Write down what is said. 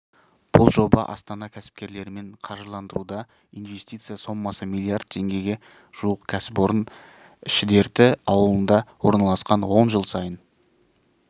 бұл жоба астана кәсіпкерлерімен қаржыландырылуда инвестиция соммасы млрд теңгеге жуық кәсіпорын шідерті ауылында орналасқан онда жыл сайын